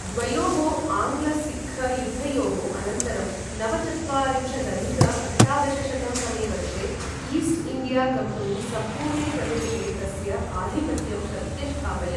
द्वयोः आङ्ग्ल सिक्ख युद्धयोः अनन्तरं नवचत्वारिंशदधिक अष्टादशशतं तमे वर्षे ईस्ट् इण्डिया कम्पनी सम्पूर्णे प्रदेशे तस्य आधिपत्यं प्रत्यष्ठापयत्।